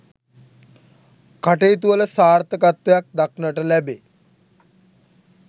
කටයුතුවල සාර්ථකත්වයක් දක්නට ලැබේ.